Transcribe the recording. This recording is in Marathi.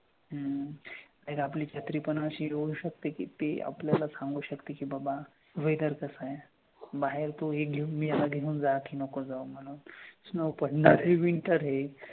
हम्म आणि आपली पण छत्री पण असी होऊ सकते कि ते आपल्याला सांगू सकते कि बाबा weather कसं आहे. बाहेर तू हे घेऊन ये ह्याला घेऊन जा की नको जाऊ म्हणून. Snow पडणार आहे हे winter आहे.